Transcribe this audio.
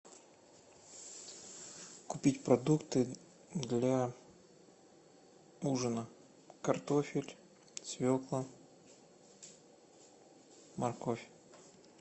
купить продукты для ужина картофель свекла морковь